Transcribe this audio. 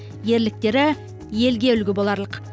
ерліктері елге үлгі боларлық